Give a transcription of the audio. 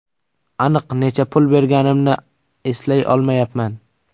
Aniq necha pul berganimni eslay olmayapman.